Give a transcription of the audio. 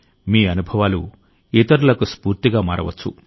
మీ అనుభవాలు ఇతరులకు స్ఫూర్తిగా మారవచ్చు